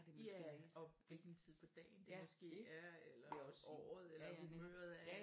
Ja og hvilken tid på dagen det måske er eller året eller humøret